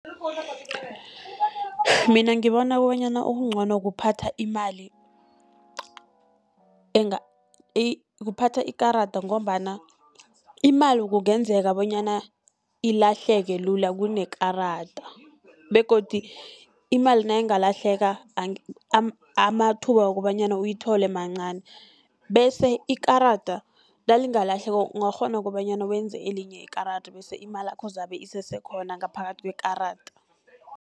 Mina ngibona okobanyana okuncono kuphatha imali, kuphatha ikarada ngombana imali kungenzeka bonyana ilahleke lula kunekarada, begodu imali nayingalahleka amathuba wokobanyana uyithole mancani. Bese ikarada nalingalahleka ungakghona kobanyana wenze elinye ikarada, bese imalakho zabe isese khona ngaphakathi kwekarada.